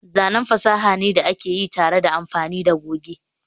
zanen fasaha ne da aka yi tare da amfani da goge